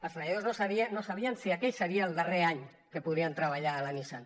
els treballadors no sabien si aquell seria el darrer any que podrien treballar a la nissan